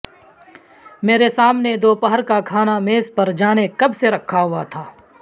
میرے سامنے دوپہر کا کھانا میز پر جانے کب سےرکھا ہوا تھا